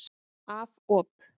Af op.